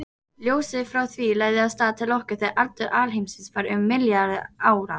Ljósið frá því lagði af stað til okkar þegar aldur alheimsins var um milljarður ára.